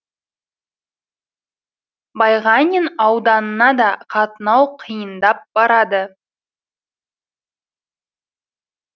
байғанин ауданына да қатынау қиындап барады